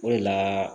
O de la